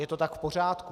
Je to tak v pořádku.